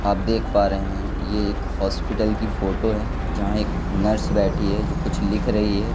आप देख पा रहे हैं ये एक हॉस्पिटल की फोटो है जहां एक नर्स बैठी है जो कुछ लिख रही है।